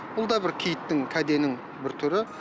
бұл да бір киіттің кәденің бір түрі